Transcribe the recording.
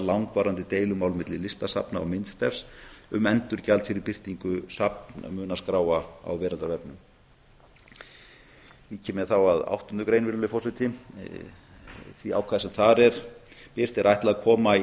langvarandi deilumál milli listasafna og myndstefs um endurgjald fyrir birtingu safnmunaskráa á veraldarvefnum vík ég þá að áttundu grein því ákvæði sem þar er birt er ætlað að koma í